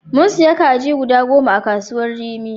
Mun siya kaji goda goma a kasuwar rimi.